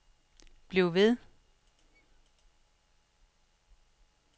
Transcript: bliv ved